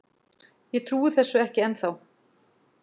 Ég trúi þessu ekki ennþá.